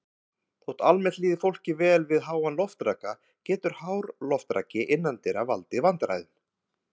Þótt almennt líði fólki vel við háan loftraka getur hár loftraki innandyra valdið vandræðum.